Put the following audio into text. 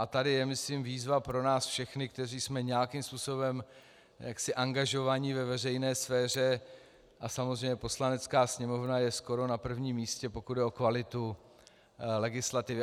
A tady je myslím výzva pro nás všechny, kteří jsme nějakým způsobem angažovaní ve veřejné sféře, a samozřejmě Poslanecká sněmovna je skoro na prvním místě, pokud jde o kvalitu legislativy.